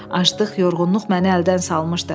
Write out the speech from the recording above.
Aclıq, yorğunluq məni əldən salmışdı.